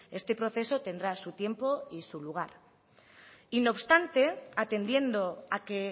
este proceso tendrá su tiempo y su lugar y no obstante atendiendo a que